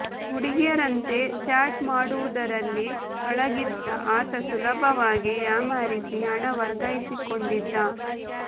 ಹುಡುಗಿಯರಂತೆ chat ಮಾಡುವುದರಲ್ಲಿ ಪಳಗಿದ್ದ ಆತ ಸುಲಭವಾಗಿ ಯಾಮಾರಿಸಿ ಹಣ ವರ್ಗಾಯಿಸಿಕೊಂಡಿದ್ದ